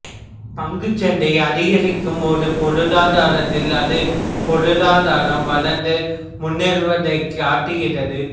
பங்குச் சந்தை அதிகரிக்கும் ஒரு பொருளாதாரத்தில் அது பொருளாதாரம் வளர்ந்து முன்னேறுவதைக் காட்டுகிறது